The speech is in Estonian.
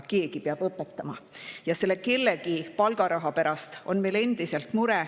Keegi peab õpetama ja selle kellegi palgaraha pärast on meil endiselt mure.